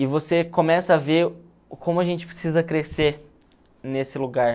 E você começa a ver o como a gente precisa crescer nesse lugar.